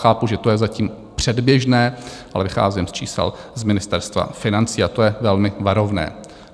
Chápu, že to je zatím předběžné, ale vycházím z čísel z Ministerstva financí, a to je velmi varovné.